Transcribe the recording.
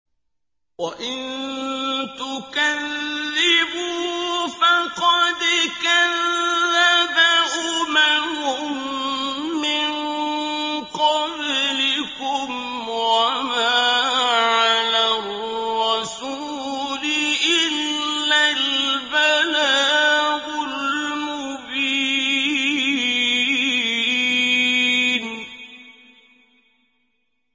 وَإِن تُكَذِّبُوا فَقَدْ كَذَّبَ أُمَمٌ مِّن قَبْلِكُمْ ۖ وَمَا عَلَى الرَّسُولِ إِلَّا الْبَلَاغُ الْمُبِينُ